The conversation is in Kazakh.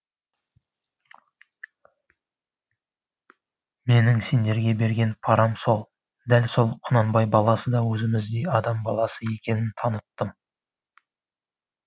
менің сендерге берген парам сол дәл сол құнанбай баласы да өзіміздей адам баласы екенін таныттым